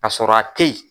Ka sɔrɔ a teyi